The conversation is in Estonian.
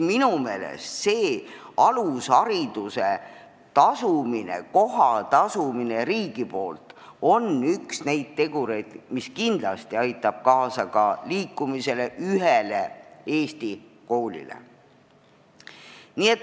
Minu meelest on lasteaiakoha tasumine riigi poolt üks tegureid, mis kindlasti aitab kaasa ka liikumisele ühtse Eesti koolisüsteemi poole.